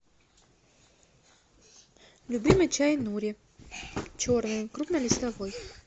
любимый чай нури черный крупнолистовой